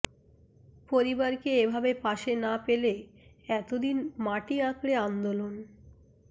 পরিবারকে এ ভাবে পাশে না পেলে এত দিন মাটি আঁকড়ে আন্দোলন